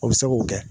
O bɛ se k'o kɛ